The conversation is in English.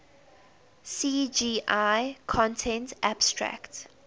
cgi content abstract